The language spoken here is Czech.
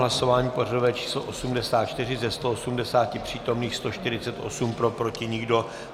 Hlasování pořadové číslo 84, ze 180 přítomných 148 pro, proti nikdo.